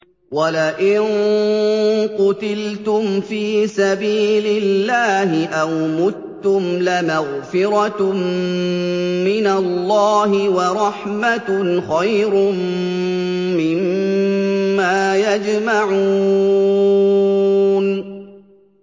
وَلَئِن قُتِلْتُمْ فِي سَبِيلِ اللَّهِ أَوْ مُتُّمْ لَمَغْفِرَةٌ مِّنَ اللَّهِ وَرَحْمَةٌ خَيْرٌ مِّمَّا يَجْمَعُونَ